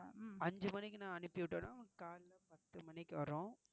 அஞ்சு மணிக்கு நான் அனுப்பிவிட்டேனா உங்களுக்கு காலையில பத்து மணிக்கு வரும்.